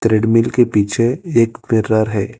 Treadmill के पीछे एक मिरर है।